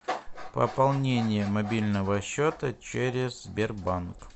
пополнение мобильного счета через сбербанк